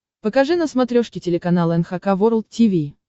покажи на смотрешке телеканал эн эйч кей волд ти ви